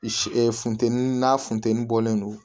funteni n'a funteni bɔlen don